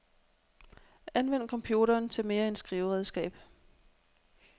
Anvend computeren til mere end skriveredskab.